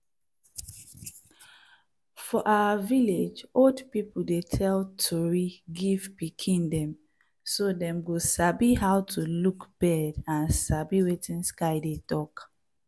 for our village old people dey tell tori give pikin dem so dem go sabi how to look bird and sabi wetin sky dey talk.